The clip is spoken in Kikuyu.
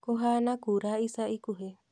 Kũhana kura ica ikuhĩ